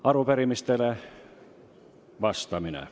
Arupärimistele vastamine.